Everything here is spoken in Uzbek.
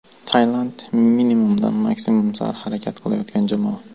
Tailand: minimumdan maksimum sari harakat qilayotgan jamoa.